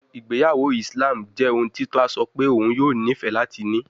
Igbeyawo Islam jẹ ohun ti tola sọ pe oun yoo nifẹ lati ni